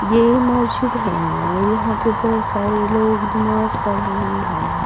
ये मस्जिद है और यहां पे बहोत सारे लोग नमाज पढ़ रहे हैं।